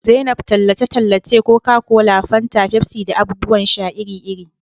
zainab tallace-tallace Coca-Cola, fanta, Pepsi da abubuwan sha iri-iri.